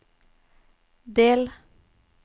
del